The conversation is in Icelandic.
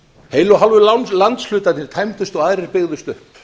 heilu og hálfu landshlutarnir tæmdust og aðrir byggðust upp